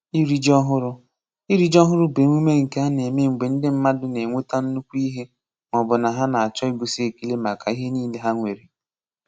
Iri ji ọhụrụ: Iri ji ọhụrụ bụ emume nke a na-eme mgbe ndị mmadụ na-enweta nnukwu ihe ma ọ bụ na-achọ ịgosị ekele maka ihe niile ha nwere.